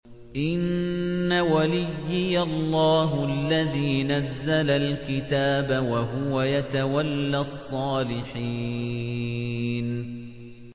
إِنَّ وَلِيِّيَ اللَّهُ الَّذِي نَزَّلَ الْكِتَابَ ۖ وَهُوَ يَتَوَلَّى الصَّالِحِينَ